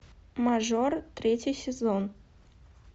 мажор третий сезон